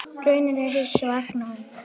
Raunin er hins vegar önnur.